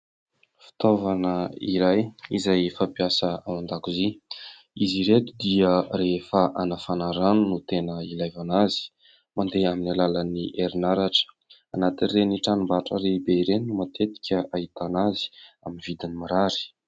Fitaovana iray izay fampiasa ao an-dakozia izy ireto dia rehefa anafana rano no tena ilana azy mandeha amin'ny alalan'ny herinaratra ao anatin'ireny tranom-barotra lehibe ireny no matetika ahitana azy amin'ny vidin'ny mirary